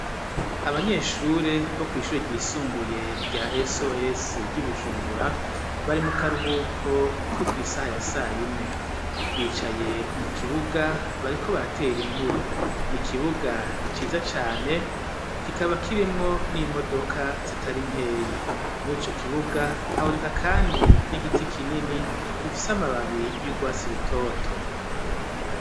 Abanyeshure, bo kw'ishure ryisumbuye, rya "SOS" ry'i Bujumbura, bari mu karuhuko, ko kw’isaha ya sayine; bicaye mu kibuga, bariko baratere inkuru; ni ikibuga ciza cane, kikaba kirimwo n'imodoka, zitari nkeyi; muri ico kibuga, haboneka kandi, n'igiti kinini, gifise amababi, y'urwatsi rutoto.